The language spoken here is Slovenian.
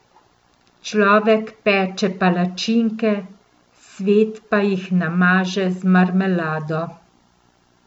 Človek peče palačinke, svet pa jih namaže z marmelado.